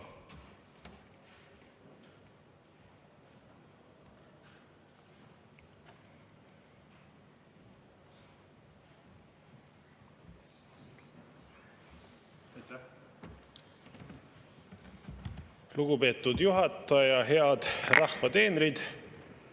Aitäh!